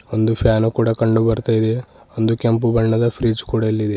ಒಂದು ಫ್ಯಾನ್ ಕೂಡ ಕಂಡು ಬರ್ತಾ ಇದೆ ಒಂದು ಕೆಂಪು ಬಣ್ಣದ ಫ್ರಿಡ್ಜ್ ಕೊಡ ಇಲ್ಲಿದೆ.